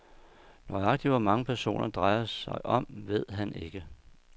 Nøjagtig hvor mange personer, sagen drejer sig om, ved han ikke.